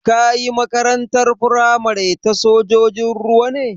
Ka yi Makarantar firamare ta sojojin ruwa ne?